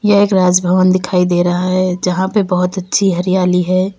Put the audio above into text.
एक राज भवन दिखाई दे रहा है जहां पे बहुत अच्छी हरियाली है।